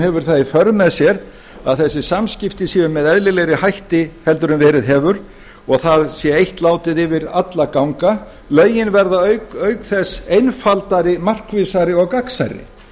hefur það í för með sér að þessi samskipti séu með eðlilegri hætti heldur en verið hefur og það sé eitt látið yfir alla ganga lögin verða auk þess einfaldari markvissari og gagnsærri